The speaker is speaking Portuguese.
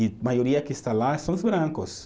E maioria que está lá são os brancos.